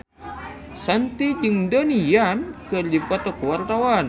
Shanti jeung Donnie Yan keur dipoto ku wartawan